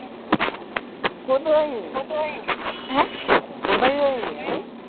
কোথায় যাই নি আমি